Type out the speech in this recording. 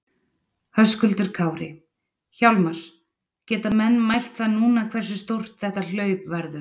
Höskuldur Kári: Hjálmar, geta menn mælt það núna hversu stórt þetta hlaup verður?